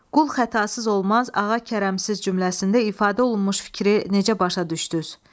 Qul xətasız olmaz, ağa kərəmsiz cümləsində ifadə olunmuş fikri necə başa düşdünüz?